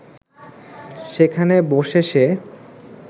সেখানে বসে সে